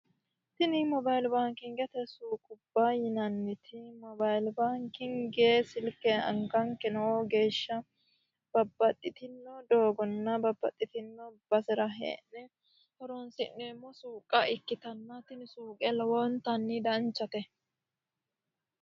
tini mobailibaankingete suuqubba yinanniti mobayilibaankingee silke anganke nooo geeshsha babaxxitino doogonna babbaxxitino base'ra hee'ne horonsi'neemmo suuqa ikkitannatana tini suuqe lowoontanni danchate